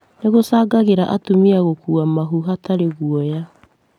Nĩ gũcangagĩra atumia gũkuua mahu hatarĩ guoya